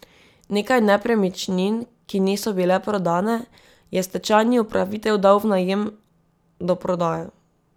Nekaj nepremičnin, ki niso bile prodane, je stečajni upravitelj dal v najem do prodaje.